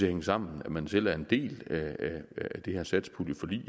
hænge sammen at man selv er en del af det her satspuljeforlig